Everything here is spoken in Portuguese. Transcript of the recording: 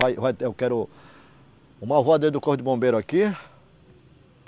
Vai, vai, eu quero, um do corpo de bombeiro aqui.